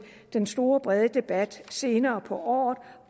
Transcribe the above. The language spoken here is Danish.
en stor bred debat senere på året